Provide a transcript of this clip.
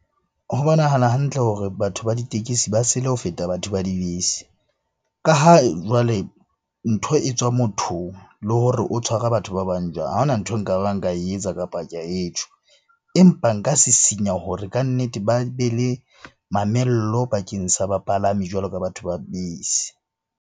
Ho bonahala hantle hore batho ba ditekesi ba sele ho feta batho ba dibese. Ka ha jwale ntho e tswa mothong le hore o tshwara batho ba bang jwang? Ha hona ntho eo nkabang ka e etsa, kapa ka e tjho. Empa nka sisinya hore kannete ba be le mamello bakeng sa bapalami jwalo ka batho ba bese.